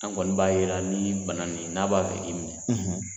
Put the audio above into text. An kɔni b'a jira nin bana nin n'a b'a fɛ k'i minɛ